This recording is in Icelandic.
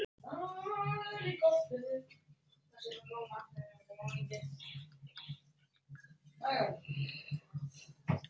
Við ætlum að fá tvo latte og eina kökusneið.